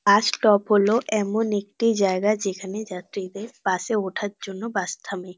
বাস stop হলো এমন একটি জায়গা যেখানে যাত্রীদের বাস -এ ওঠার জন্য বাস থামে।